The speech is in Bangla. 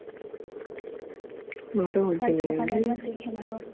কাল সকালে একবার দেখে নেবো